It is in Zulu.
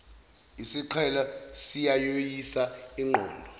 isiqhelo siyayoyisa inqondo